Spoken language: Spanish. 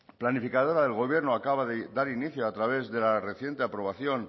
planificadora del gobierno acaba de dar inicio a través de la reciente aprobación